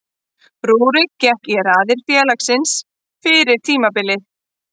Rúrik gekk í raðir félagsins fyrir tímabilið.